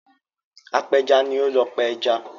Apẹja ni ó ń lọ pa ẹja.